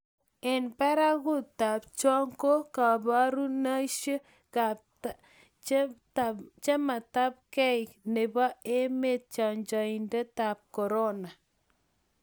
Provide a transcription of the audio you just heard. eng' barakutab cho ko kiborushirikaitab chametabgei nebo emet chanjoitab korona